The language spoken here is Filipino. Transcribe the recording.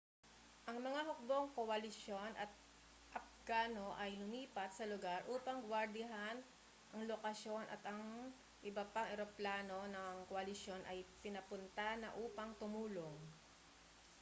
ang mga hukbong koalisyon at apgano ay lumipat sa lugar upang guwardiyahan ang lokasyon at ang iba pang eroplano ng koalisyon ay pinapunta na upang tumulong